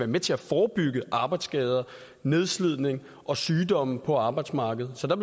med til at forebygge arbejdsskader nedslidning og sygdomme på arbejdsmarkedet så der